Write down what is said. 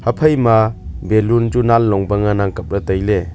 aphaima balloon chu nan long pa nganang kapley tailey.